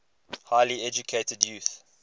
highly educated youth